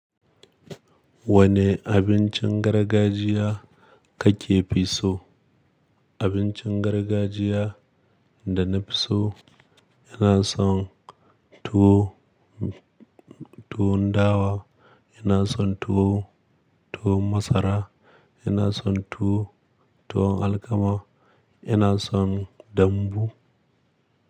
Wane abincin gargajiya kake fi so? Abincin gargajiya da na fi so, ina son tuwo, tuwon dawa, ina son tuwo, tuwon masara, ina son tuwo, tuwon alkama, ina son dambu.